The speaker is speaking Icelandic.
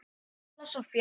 Stella Soffía.